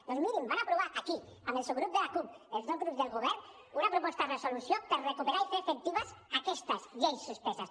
doncs mirin van aprovar aquí amb el subgrup de la cup els dos grups del govern una proposta de resolució per recuperar i fer efectives aquestes lleis suspeses